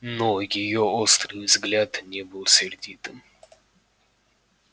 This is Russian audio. но её острый взгляд не был сердитым